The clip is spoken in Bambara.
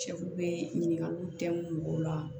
Cɛfu bɛ ɲininkaliw tɛ mɔgɔw la